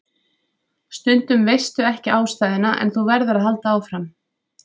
Stundum veistu ekki ástæðuna en þú verður að halda áfram.